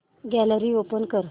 gallery open कर